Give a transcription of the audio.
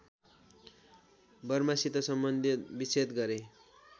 बर्मासित सम्बन्धविच्छेद गरे